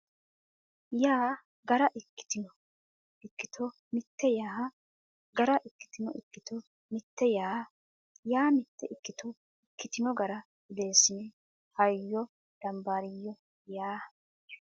yaa gara ikkitino ikkito mitte yaa gara ikkitino ikkito mitte yaa yaa mitte ikkito ikkitino gara odeessine hayyo dambaariyyo ya !